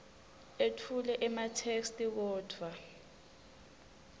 etfule ematheksthi kodvwa